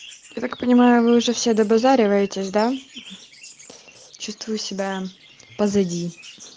я так понимаю вы уже все добазариваетесь да чувствую себя позади